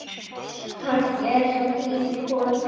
Kannski er sá tími kominn.